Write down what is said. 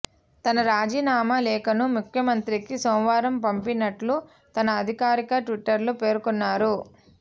తన రాజీనామా లేఖను ముఖ్యమంత్రికి సోమవారం పంపినట్లు తన అధికారిక ట్విట్టర్లో పేర్కొన్నారు